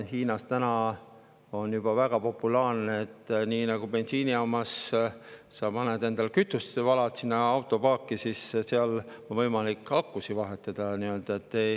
Hiinas on juba väga populaarne, et nii, nagu bensiinijaamas paned endal kütust autopaaki, on seal võimalik akusid vahetada.